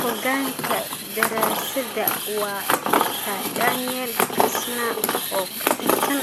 Hoggaanka daraasadda waa Dr. Daniel Kastner oo ka tirsan